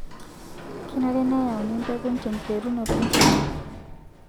Kenare nayauni mpekun te nkiterunoto enchan